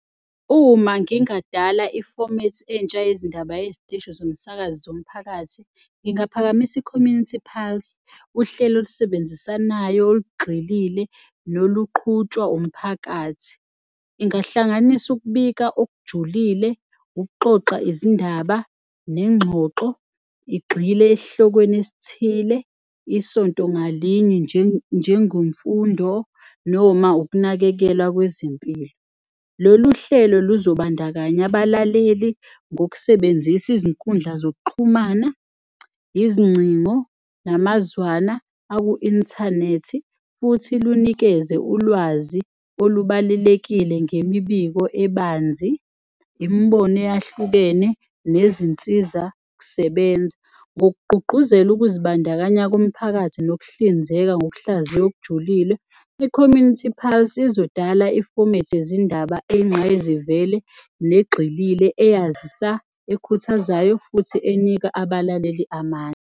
Uma ngingadala ifomethi entsha yezindaba yeziteshi zomsakazo zomphakathi, ngingaphakamisa i-Community Pulse, uhlelo olusebenzisanayo, olugxilile noluqhutshwa umphakathi. Ingahlanganisa ukubika okujulile, ukuxoxa izindaba nengxoxo igxile esihlokweni esithile isonto ngalinye njengomfundo noma ukunakekelwa kwezimpilo. Lolu hlelo luzobandakanya abalaleli ngokusebenzisa izinkundla zokuxhumana, izingcingo namazwana aku-inthanethi futhi lunikeze ulwazi olubalelekile ngemibiko ebanzi, imibono eyahlukene nezinsiza-kusebenza ngokugqugquzela ukuzibandakanya komphakathi nokuhlinzeka ngokuhlaziya okujulile, i-Community Pulse izodala ifomethi yezindaba eyingqayizivele negxilile eyazisa, ekhuthazayo futhi enika abalaleli amandla.